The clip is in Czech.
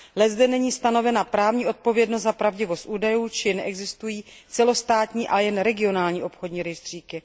Leckde není stanovena právní odpovědnost a pravdivost údajů či neexistují celostátní, ale jen regionální obchodní rejstříky.